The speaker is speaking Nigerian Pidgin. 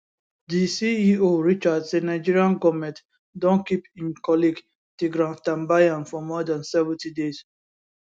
di ceo richard say nigeria goment don keep im colleague tigran gambaryan for more dan 70 days